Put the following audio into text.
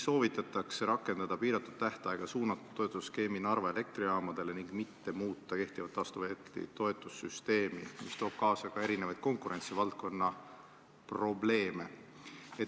Soovitatakse rakendada piiratud tähtajaga suunatud toetusskeemi Narva Elektrijaamadele ning mitte muuta kehtivat taastuvelektri toetamise süsteemi, mis tooks kaasa erinevaid konkurentsivaldkonna probleeme.